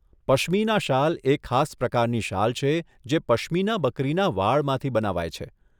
પશ્મીના શાલ એ ખાસ પ્રકારની શાલ છે જે પશ્મીના બકરીના વાળમાંથી બનાવાય છે.